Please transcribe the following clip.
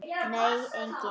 Nei, enginn